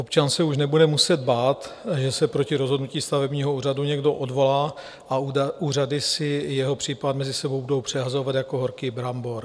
Občan se už nebude muset bát, že se proti rozhodnutí stavebního úřadu někdo odvolá a úřady si jeho případ mezi sebou budou přehazovat jako horký brambor.